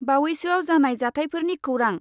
बावैसोआव जानाय जाथायफोरनि खौरां।